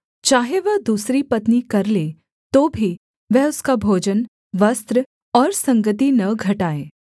चाहे वह दूसरी पत्नी कर ले तो भी वह उसका भोजन वस्त्र और संगति न घटाए